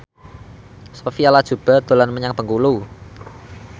Sophia Latjuba dolan menyang Bengkulu